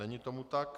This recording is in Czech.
Není tomu tak.